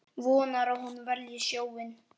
Vonar að hún velji sjóinn.